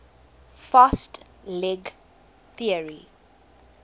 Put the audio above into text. fast leg theory